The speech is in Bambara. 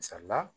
Misali la